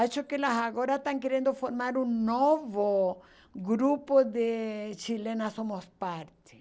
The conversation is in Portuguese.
Acho que elas agora estão querendo formar um novo grupo de chilenas somos parte.